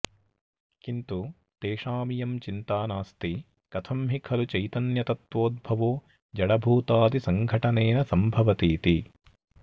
किन्तु तेषामियं चिन्ता नास्ति कथं हि खलु चैतन्यतत्त्वोद्भवो जडभूतादिसङ्घटनेन सम्भवतीति